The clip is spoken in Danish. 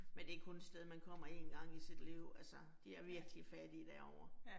Men det kun et sted man kommer én gang i sit liv altså de er virkelig fattige derovre